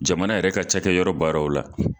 Jamana yɛrɛ ka cɛkɛ yɔrɔ baaraw la